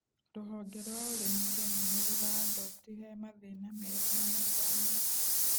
Rũhonge rwa ũrĩmi Kenya nĩrũraandobti he mathĩna merũ na matanya